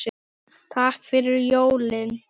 Takk fyrir jólin.